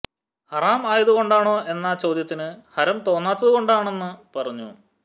ഹറാം ആയതു കൊണ്ടാണോ എന്ന ചോദ്യത്തിന് ഹരം തോന്നാത്തതു കൊണ്ടാണെന്നു പറഞ്ഞു